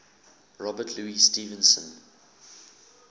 robert louis stevenson